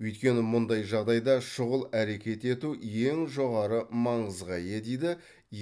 өйткені мұндай жағдайда шұғыл әрекет ету ең жоғары маңызға ие дейді